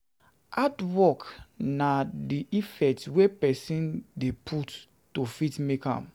Hardwork na Hardwork na di effort wey person dey put to fit make am